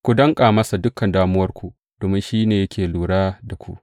Ku danƙa masa dukan damuwarku, domin shi ne yake lura da ku.